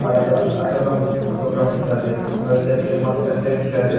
tate achano photograph likhina ase aro etu la nichete moihan ekta step dikhi ase--